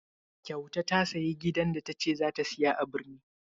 Kyauta ta sayi gidan da ta ce za ta saya a birni?